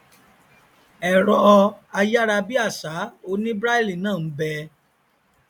ẹrọ ayárabíàṣá oní braille náà nbẹ